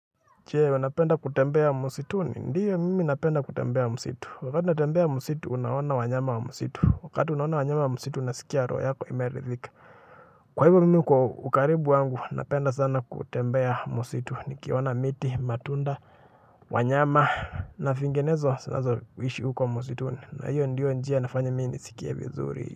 Je, unapenda kutembea msituni? Ndio, mm na penda kutembea msitu, wakati unatembea msitu unaona wanyama wa msitu, wakati unaona wanyama wa msitu unasika roho yako inaridhika. Kwa hivo mm kwa ukaribu wangu napenda sana kutembea msitu nikiona miti, matunda, wanyama. Na vingenezo zinazo ishi huko wa musituni na hiyo ndiyo njia nafanya minisikia vizuri.